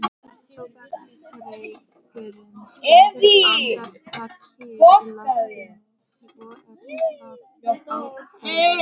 Tóbaksreykurinn stendur andartak kyrr í loftinu svo er það ákveðið.